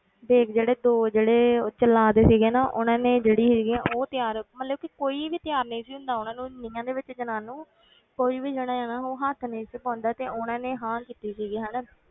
ਵੇਗ ਜਿਹੜੇ ਦੋ ਜਿਹੜੇ ਉਹ ਜਲਾਦ ਸੀਗੇ ਨੇ ਉਹਨਾਂ ਨੇ ਜਿਹੜੀ ਸੀਗੀਆਂ ਉਹ ਤਿਆਰ ਮਤਲਬ ਕਿ ਕੋਈ ਵੀ ਤਿਆਰ ਨਹੀਂ ਸੀ ਹੁੰਦਾ ਉਹਨਾਂ ਨੂੰ ਨੀਹਾਂ ਦੇ ਵਿੱਚ ਚਿਣਾਉਣ ਨੂੰ ਕੋਈ ਵੀ ਜਾਣਾ ਇਹਨਾਂ ਨੂੰ ਹੱਥ ਨਹੀਂ ਸੀ ਪਾਉਂਦਾ ਤੇ ਉਹਨਾਂ ਨੇ ਹਾਂ ਕੀਤੀ ਸੀਗੀ ਹਨਾ,